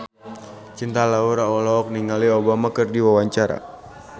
Cinta Laura olohok ningali Obama keur diwawancara